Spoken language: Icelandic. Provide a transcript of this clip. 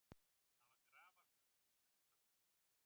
Það var grafarþögn í fundarsalnum.